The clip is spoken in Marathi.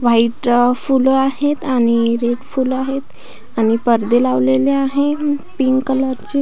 व्हाइट अ फूल आहेत आणि रेड फूल आहेत आणि पडदे लावलेले आहेत पिंक कलर चे.